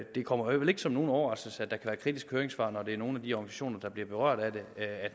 det kommer vel ikke som nogen overraskelse at der være kritiske høringssvar når det er nogle af de organisationer der bliver berørt af det